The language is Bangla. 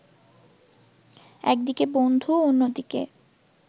একদিকে বন্ধু অন্যদিকে